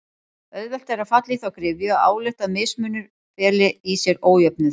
Auðvelt er að falla í þá gryfju að álykta að mismunur feli í sér ójöfnuð.